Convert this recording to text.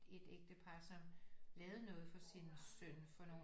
Ægtepar som lavede noget for sin søn for nogle